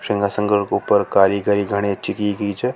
सिंहासन के ऊपर कारीगरी घणी अच्छी की गई छ।